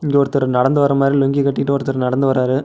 இங்க ஒருத்தர் நடந்து வர மாதிரி லுங்கி கட்டிட்டு ஒருத்தர் நடந்து வராரு.